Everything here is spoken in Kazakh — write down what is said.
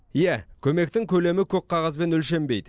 иә көмектің көлемі көк қағазбен өлшенбейді